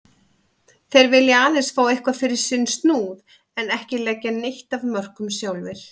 Þeir vilja aðeins fá eitthvað fyrir sinn snúð en ekki leggja neitt af mörkum sjálfir.